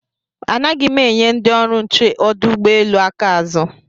Anaghị m enye ndị ọrụ nche ọdụ ụgbọelu aka azụ